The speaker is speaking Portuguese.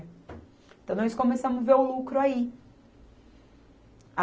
Então, nós começamos a ver o lucro aí.